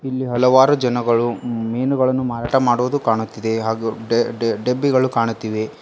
ಇಲ್ಲಿ ಹಲವಾರು ಜನಗಳು ಮೀನುಗಳನ್ನು ಮಾರಾಟ ಮಾಡುವುದು ಕಾಣುತ್ತಿದೆ ಹಾಗು ಡೆ ಡೆ ಡೆಬ್ಬಿಗಳು ಕಾಣುತ್ತಿವೆ.